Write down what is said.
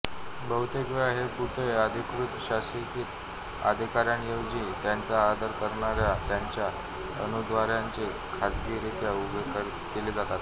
बहुतेक वेळा हे पुतळे अधिकृतशासकीय अधिकार्यांऐवजी त्यांचा आदर करणार्या त्यांच्या अनुयायांद्वारे खाजगीरित्या उभे केले जातात